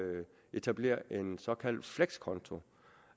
etablere en såkaldt flekskonto